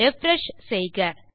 refresh செய்க